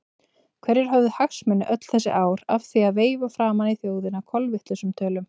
Hverjir höfðu hagsmuni öll þessi ár af því að veifa framan í þjóðina kolvitlausum tölum?